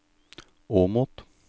Åmot